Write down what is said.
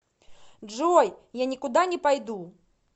джой я никуда не пойду